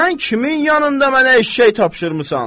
Sən kimin yanında mənə eşşək tapşırmısan?